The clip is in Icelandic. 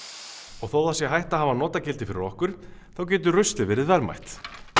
og þótt það sé hætt að hafa notagildi fyrir okkur getur ruslið verið verðmætt